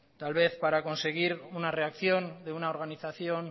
tal vez para conseguir una reacción de una organización